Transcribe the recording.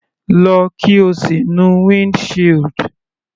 Lọ, kí o sì nu wind shield.